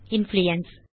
influence